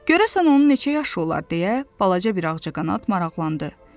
Görəsən onun neçə yaşı olar deyə balaca bir ağcaqanad maraqlandı.